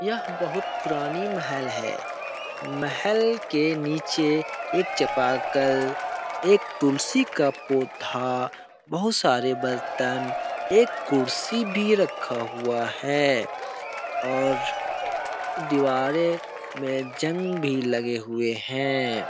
यह बहुत पुरानी महल है महल के नीचे एक चपाकल एक तुलसी का पौधा बहुत सारे बर्तन एक कुर्सी भी रखा हुआ है और दीवारें में जंग भी लगे हुए हैं ।